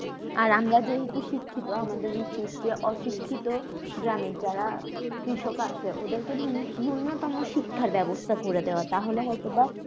আর আমরা যে তুই শিক্ষিত আমাদের উচিত যে অশিক্ষিত গ্রামের যারা কৃষক আছে ওদেরকে নূন্যতম শিক্ষার ব্যবস্থা করে দেওয়া তাহলে হয়তো বা